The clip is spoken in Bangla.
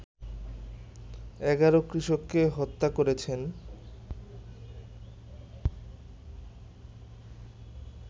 ১১ কৃষককে হত্যা করেছেন